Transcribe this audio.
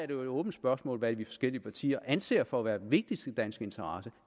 jo et åbent spørgsmål hvad de forskellige partier anser for at være den vigtigste danske interesse